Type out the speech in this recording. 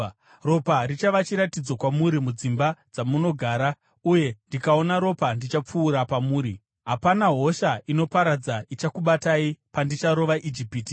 Ropa richava chiratidzo kwamuri mudzimba dzamunogara; uye ndikaona ropa, ndichapfuura pamuri. Hapana hosha inoparadza ichakubatai pandicharova Ijipiti.